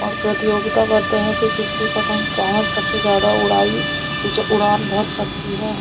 और प्रतियोगिता करते हैं की किसकी पतंग कहाँ सबसे जादा उड़ाई उच उड़ान भर सकती है।